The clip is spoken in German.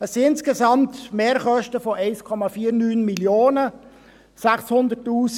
Es sind insgesamt Mehrkosten von 1,49 Mio. Franken.